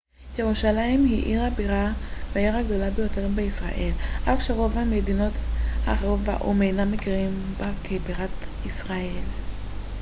ירושלים היא עיר הבירה והעיר הגדולה ביותר בישראל אף שרוב המדינות האחרות והאו ם אינם מכירים בה כבירת ישראל